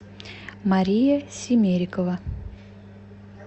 мария симерикова